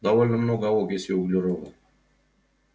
довольно много окиси углерода